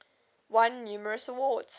won numerous awards